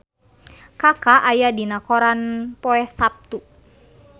Kaka aya dina koran poe Saptu